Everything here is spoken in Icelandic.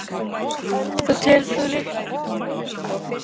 Telur þú líklegt að þær kröfur nái í gegn?